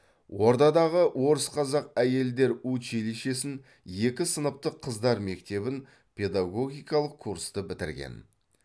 ордадағы орыс қазақ әйелдер училишесін екі сыныптық қыздар мектебін педагогикалық курсты бітірген